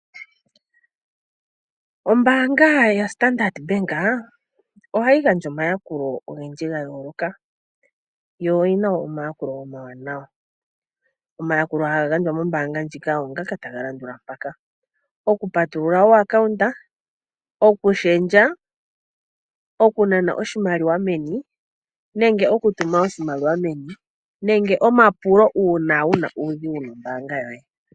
Ombaanga yaStandard Bank ohayi gandja omayakulo ogendji ga yooloka yo oyina omayakulo omawanawa. Omayakulo haga gandjwa mombaanga ndjika ogo ngaka taga landula mpaka: okupatulula ompungulilo, okushendja, okunana oshimaliwa meni nenge okutuma oshimaliwa meni nenge omapulo uuna wuna uudhigu nombaanga yoye.